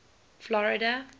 florida